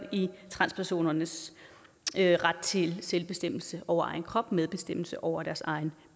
transpersonernes ret til selvbestemmelse over egen krop og medbestemmelse over deres egen